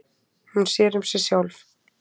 Hún sér um sig sjálf.